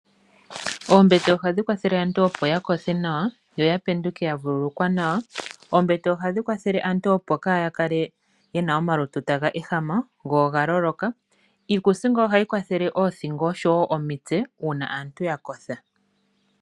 Oombete oha dhi kwathele aantu opo ya kothe nawa, yo ya penduke ya vululukwa nawa. Oombete ohadhi kwathele aantu opo yaakale yena omalutu taga ehama go oga lolola. Iikuusinga oyo hayi kwathele oothingo oshowo omitse, uuna aantu ya kotha.